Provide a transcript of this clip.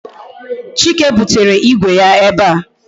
Chike butere Igwe ya ebe a